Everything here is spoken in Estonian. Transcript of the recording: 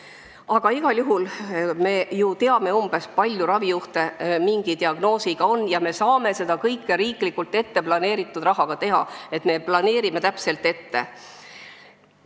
Aga igal juhul me ju umbes teame, kui palju mingi diagnoosiga ravijuhte on, ja me saame seda kõike riiklikult planeeritud rahaga teha nii, et me planeerime täpselt ette.